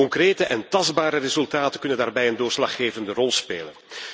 Concrete en tastbare resultaten kunnen daarbij een doorslaggevende rol spelen.